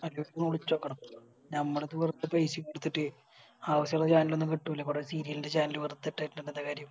അജിത്തിനെ വിളിചോക്കണം ഞമ്മളിപ്പോ വെറുതെ പൈസെടുത്തിട്ട് ആവശ്യോള്ള Channel ഒന്നും കിട്ടൂല ഇബിടെ Serial ൻറെ Channel വെറുതെ ഇടിച്ചിറ്റ് എന്താ കാര്യം